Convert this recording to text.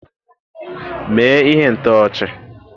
Mee ihe ntọchi!